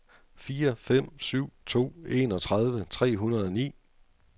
fire fem syv to enogtredive tre hundrede og ni